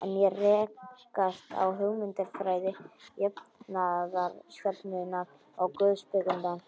En hér rekast á hugmyndafræði jafnaðarstefnunnar og guðspekinnar.